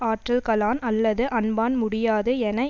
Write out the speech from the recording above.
ஆற்றல்களான் அல்லது அன்பான் முடியாது என